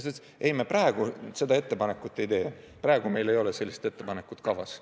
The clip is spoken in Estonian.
Ta ütles, et nad praegu seda ettepanekut ei tee, praegu ei ole sellist ettepanekut kavas.